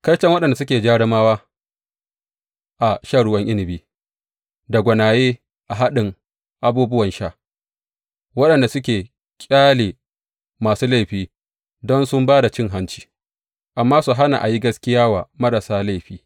Kaiton waɗanda suke jarumawa a shan ruwan inabi da gwanaye a haɗin abubuwan sha, waɗanda suke ƙyale masu laifi don sun ba da cin hanci, amma su hana a yi gaskiya wa marasa laifi.